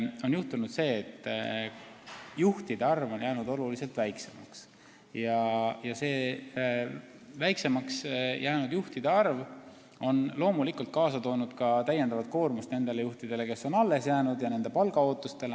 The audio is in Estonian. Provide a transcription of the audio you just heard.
Ma arvan, et juhtunud on see, et juhtide arv on jäänud oluliselt väiksemaks ja see väiksemaks jäänud juhtide arv on kaasa toonud ka täiendava koormuse nendele juhtidele, kes on alles jäänud, mõjutanud nende palgaootusi.